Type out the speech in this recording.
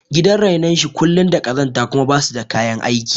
Gidan renon shi kullum da ƙazanta kuma basu da kayan aiki